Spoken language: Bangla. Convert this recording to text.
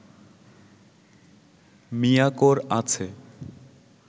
মিয়াকোর আছে